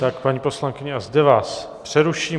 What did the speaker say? Tak, paní poslankyně, a zde vás přeruším.